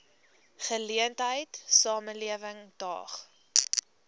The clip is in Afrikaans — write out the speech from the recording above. geleentheid samelewing daag